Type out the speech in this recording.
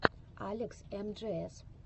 алекс эмджиэс